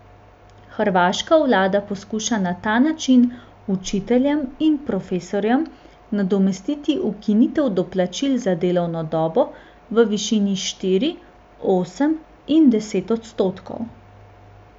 Hrvaška vlada poskuša na ta način učiteljem in profesorjem nadomestiti ukinitev doplačil za delovno dobo v višini štiri, osem in deset odstotkov.